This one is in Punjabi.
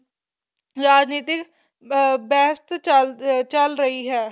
ਰਾਜਨੀਤਿਕ ਬਹਿਸ ਚੱਲ ਰਹੀ ਹੈ